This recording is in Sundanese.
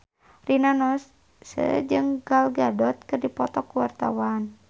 Rina Nose jeung Gal Gadot keur dipoto ku wartawan